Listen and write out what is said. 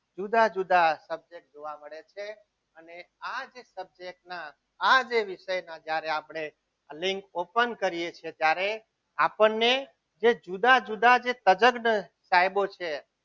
જુદા જુદા subject જોવા મળે છે અને આ જ સજાતીના આ જે વિષયનો જ્યારે આપણે લિંક open કરીએ છીએ ત્યારે આપણને જે જુદા જુદા તજજ્ઞ સાહેબો છે.